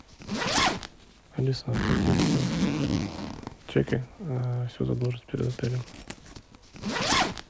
алиса оплати все чеки всю задолженность перед отелем